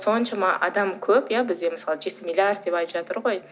соншама адам көп иә бізде мысалы жеті миллиард деп айтып жатыр ғой